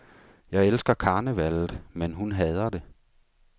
Jeg elsker karnevallet, men hun hader det.